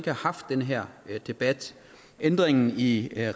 have haft den her debat ændringen i